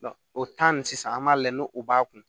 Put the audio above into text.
o sisan an b'a lajɛ n'o o b'a kun